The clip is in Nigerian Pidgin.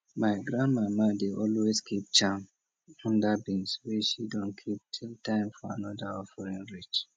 my granmama dey always keep charm under beans wey she don keep till time for another offering reach